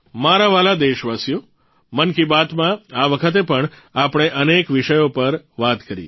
મારા વ્હાલા દેશવાસીઓ મન કી બાત માં આ વખતે પણ આપણે અનેક વિષયો પર વાત કરી